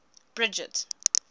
bridget